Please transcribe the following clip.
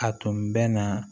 A tun bɛ na